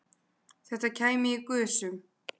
Þetta kæmi í gusum